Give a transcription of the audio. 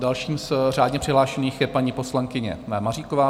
Další z řádně přihlášených je paní poslankyně Maříková.